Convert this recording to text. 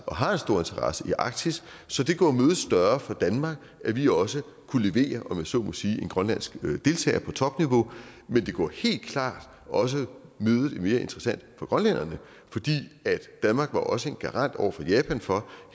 og har en stor interesse i arktis så det gjorde mødet større for danmark at vi også kunne levere om jeg så må sige en grønlandsk deltager på topniveau men det gjorde helt klart også mødet mere interessant for grønlænderne for danmark var også en garant over for japan for at